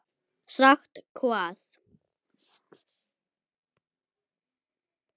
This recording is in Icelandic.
Sagt hvað?